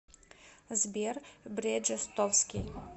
сбер бреджестовски